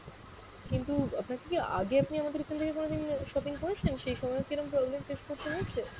কিন্তু আপনার কি আগে আপনি আমাদের এখান থেকে কোনদিন shopping করেছেন? সেই সময়েও কি এরম problem face করতে হয়েছে?